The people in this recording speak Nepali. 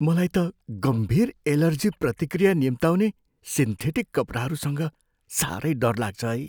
मलाई त गम्भीर एलर्जी प्रतिक्रिया निम्त्याउने सिन्थेटिक कपडाहरूसँग साह्रै डर लाग्छ है।